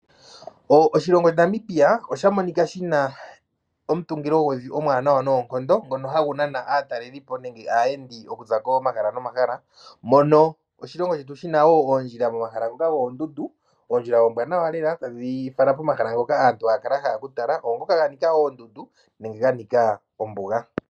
Oshilongo shetu Namibia oshamonika shina omutungililo gwevi omwanawa noonkondo ngono hagu nana aatalelipo nenge aayendi okuza komahala nomahala mono oshilongo shetu shina ondjila momahala ngoka gondundu ondjila ombwanawa lela tadhi fala pomahala ngoka aantu hakala yahala okutala ongoka ganika oondundu nenge ganika ombuga.